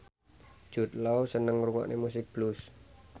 Jude Law seneng ngrungokne musik blues